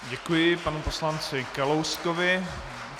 Děkuji panu poslanci Kalouskovi.